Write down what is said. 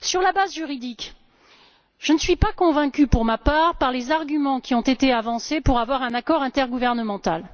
À propos de la base juridique, je ne suis pas convaincue, pour ma part, par les arguments qui ont été avancés en vue d'un accord intergouvernemental.